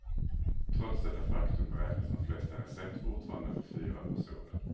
Trots detta faktum beräknas de flesta recept fortfarande för fyra personer.